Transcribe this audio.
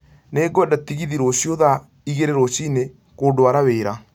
Nĩ ngwenda tegithi rũcio thaa igĩri rucinĩ kũndwara wĩra